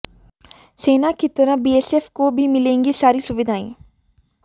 सेना की तरह बीएसएफ को भी मिलेंगी सारी सुविधाएं